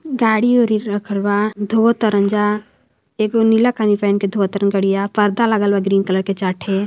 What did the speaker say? गाड़ी वाडी रखल बा धोवत ता रंजा एक को नीला पेंट धोवत तारे गड़िया पर्दा लगल बा ग्री कलर के चार ठे |